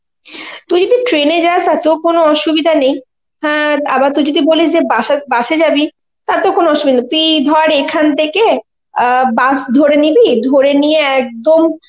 তুই যদি train এ যাস তাতেও কোনো অসুবিধা নেই, হ্যাঁ আবার তুই যদি বলিস যে বাসা bus এ জাবি, তাতেও কোনো অসুবিধা নেই, তুই ধর এখান থেকে আ bus ধরে নিবি, ধরেনিয়ে একদম